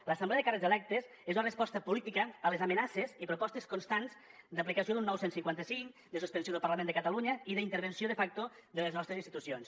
l’assemblea de càrrecs electes és la resposta política a les amenaces i propostes constants d’aplicació d’un nou cent i cinquanta cinc de suspensió del parlament de catalunya i d’intervenció de facto de les nostres institucions